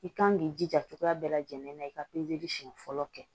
I kan k'i jija cogoya bɛɛ lajɛlen na i ka pezeli siɲɛ fɔlɔ kɛ